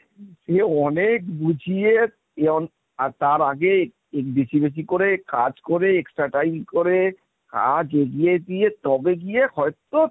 সে অনেক বুঝিয়ে আর তার আগে বেশি বেশি করে কাজ করে extra Time করে কাজ এগিয়ে দিয়ে তবে গিয়ে হয়তো